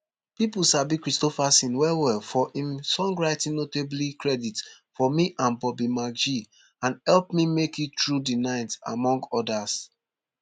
pipo sabi kristofferson wellwell for im songwriting notably credit for me and bobby mcgee and help me make it through the night among odas